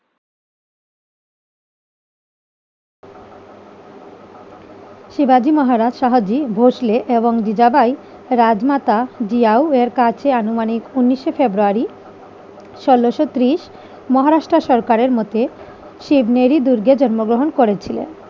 শিবাজী মহারাজ সাহাজি ভোসলে এবং জিজাবাই রাজমাতা জিয়াও এর কাছে আনুমানিক উনিশে ফেব্রুয়ারি ষোলোশো ত্রিশ মহারাষ্ট্র সরকারের মতে শিব মেরি দুর্গে জন্মগ্রহণ করেছিলেন।